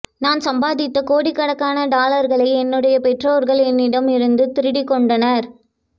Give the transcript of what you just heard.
நான் சம்பாதித்த கோடிக்கணக்கான டாலர்களை என்னுடைய பெற்றோர்கள் என்னிடம் இருந்து திருடிக் கொண்டனர்